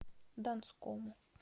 донскому